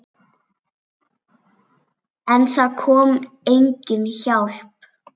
En það kom engin hjálp.